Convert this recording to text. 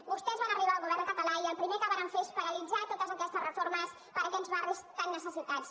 vostès van arribar al govern català i el primer que varen fer és paralitzar totes aquestes reformes per a aquests barris tan necessitats